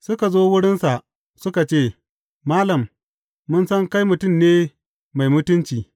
Suka zo wurinsa suka ce, Malam, mun san kai mutum ne mai mutunci.